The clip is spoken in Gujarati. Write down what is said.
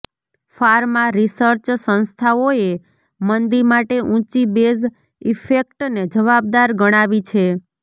ફાર્મા રિસર્ચ સંસ્થાઓએ મંદી માટે ઊંચી બેઝ ઇફેક્ટને જવાબદાર ગણાવી છે